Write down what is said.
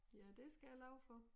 Ja det skal jeg love for